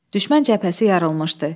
Düşmən cəbhəsi yarılmışdı.